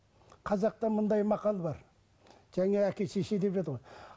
қазақта мындай мақал бар және әке шеше деп еді ғой